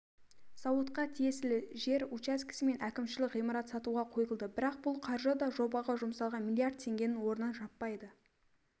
зауытқа тиесілі жер учаскесі мен әкімшілік ғимарат сатуға қойылды бірақ бұл қаржы да жобаға жұмсалған миллиард теңгенің орнын жаппайды